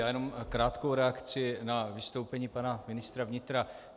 Já jenom krátkou reakci na vystoupení pana ministra vnitra.